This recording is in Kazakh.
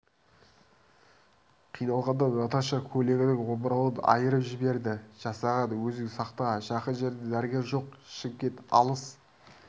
қиналғанда наташа көйлегінің омырауын айырып жіберді жасаған өзің сақта жақын жерде дәрігер жоқ шымкент алыс